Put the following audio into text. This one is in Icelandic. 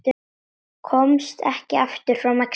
Komst ekki aftur frá Mexíkó